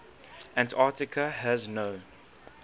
antarctica has no